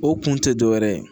O kun tɛ dɔwɛrɛ ye